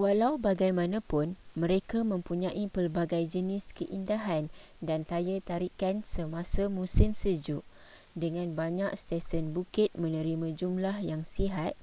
walau bagaimanapun mereka mempunyai pelbagai jenis keindahan dan daya tarikan semasa musim sejuk dengan banyak stesen bukit menerima jumlah yang sihat